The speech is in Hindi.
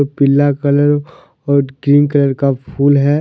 पीला कलर और ग्रीन कलर का फूल है।